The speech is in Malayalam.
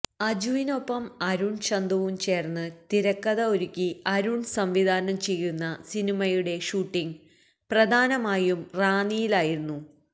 അജുവിനെപ്പം അരുണ് ചന്തുവും ചേര്ന്ന് തിരക്കഥ ഒരുക്കി അരുണ് സംവിധാനം ചെയ്യുന്ന സിനിമയുടെ ഷൂട്ടിങ് പ്രധാനമായും റാന്നിയിലായിരുന്നു